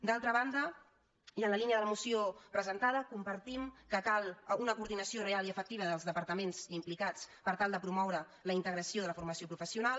d’altra banda i en la línia de la moció presentada compartim que cal una coordinació real i efectiva dels departaments implicats per tal de promoure la integra·ció de la formació professional